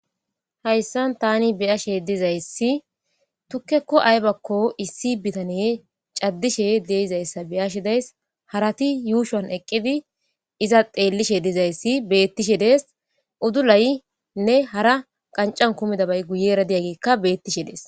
hayssan tani biyashe dizayssi tukkekko aybakko issi bitane caddishe deizayssa beyashe dayis harati yuushuan eqqidi iza xeellishe dizayssi beettishe dees udulaynne hara qancan kumida bay guyera diyaggekka beettishe dees